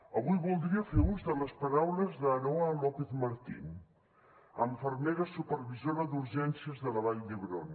avui voldria fer ús de les paraules d’aroa lópez martín infermera supervisora d’urgències de la vall d’hebron